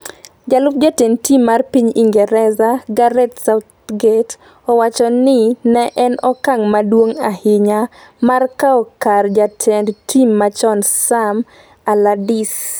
jalup jatend tim mar piny Ingresa, Gareth Southgate, owacho ni ne en ‘okang’ maduong ahinya’’ mar kawo kar jatend tim machon Sam Allardyce.